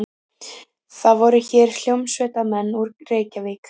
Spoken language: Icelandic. Það voru hér hljómsveitarmenn úr Reykjavík.